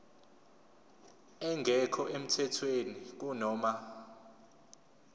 engekho emthethweni kunoma